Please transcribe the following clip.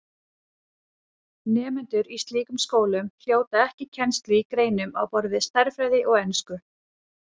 Nemendur í slíkum skólum hljóta ekki kennslu í greinum á borð við stærðfræði og ensku.